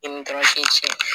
I ni tɔrasi cɛ